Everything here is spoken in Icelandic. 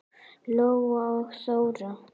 Lóa og Þóra.